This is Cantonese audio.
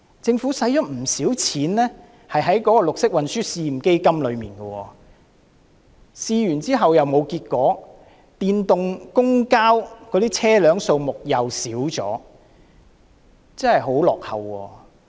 政府花了不少錢在綠色運輸試驗基金上，試驗後卻沒有結果，電動公共交通工具的車輛數目亦減少了。